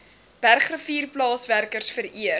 bergrivier plaaswerkers vereer